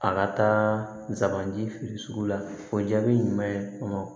A ka taa nsa man di feere sugu la o jaabi ɲuman ye